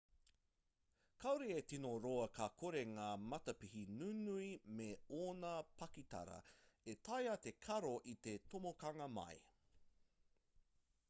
kaore e tino roa ka kore ngā matapihi nunui me ōna pakitara e taea te karo i te tomokanga mai